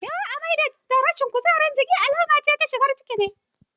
Yawan jin amai da rashin kuzari a jiki alamar shigan ciki ne.